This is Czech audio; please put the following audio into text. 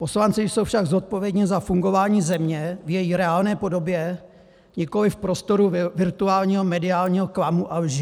Poslanci jsou však zodpovědni za fungování země v její reálné podobě, nikoliv v prostoru virtuálního mediálního klamu a lži.